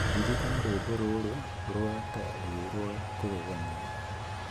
Ririkana rwĩmbo rũrũ rũu ta rwĩ rwa kũgegania.